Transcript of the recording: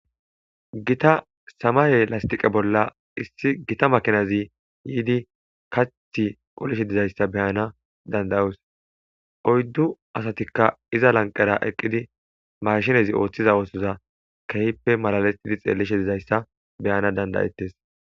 Gita samay lastiqe bola makinazi kaththi qolishshe dizayissa beyanas dandayos oyddu asatikka iza lanqera mashinez oththishe dizayissa beyanass dandayetes